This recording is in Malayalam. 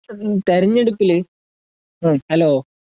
തിരഞ്ഞെടുപ്പില് ഹലോ